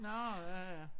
Nårh ja ja